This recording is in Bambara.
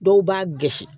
Dɔw b'a gɛnsi